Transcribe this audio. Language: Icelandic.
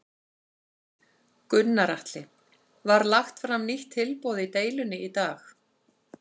Gunnar Atli: Var lagt fram nýtt tilboð í deilunni í dag?